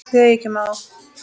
Þegar ég kem á